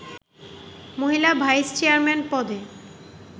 মহিলা vice chairman পদে